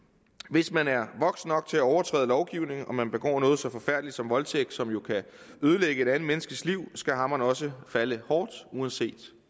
hvis man er voksen nok til at overtræde lovgivningen og man begår noget så forfærdeligt som voldtægt som jo kan ødelægge et andet menneskes liv skal hammeren også falde hårdt uanset